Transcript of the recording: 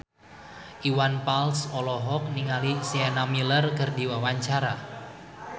Iwan Fals olohok ningali Sienna Miller keur diwawancara